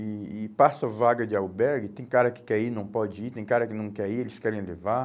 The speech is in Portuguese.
E e passa vaga de albergue, tem cara que quer ir e não pode ir, tem cara que não quer ir e eles querem levar.